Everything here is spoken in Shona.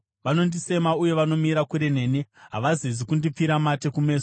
Vanondisema uye vanomira kure neni; havazezi kundipfira mate kumeso.